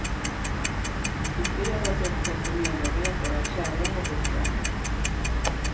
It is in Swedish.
I fredags upptäckte medarbetare att kärran var borta.